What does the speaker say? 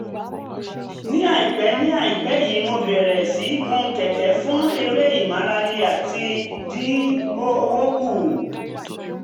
ní àìpẹ́ ní àìpẹ́ yìí mo bẹ̀rẹ̀ um sí í gun kẹ̀kẹ́ fún eré ìmárale àti láti um dín owó kù